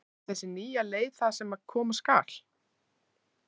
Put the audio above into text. En er þessi nýja leið það sem koma skal?